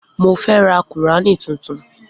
Mo fẹ́ ra kùránì tuntun.